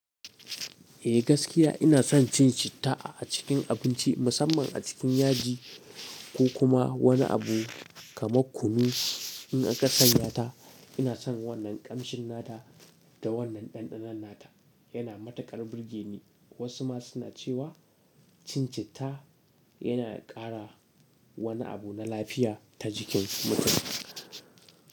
Eh gaskiya ina son cin citta a cikin abinci musamman a cikin yaji ko kuma wani abu kamar kunu. In aka sanya ta ina son wannan ƙamshinnata da wannan ɗanɗanonnata yana matukar burge ni. Wasu ma suna cewa cincitta yana ƙara wani abu na lafiya ta jikin mutum.